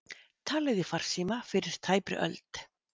Talað í farsíma fyrir tæpri öld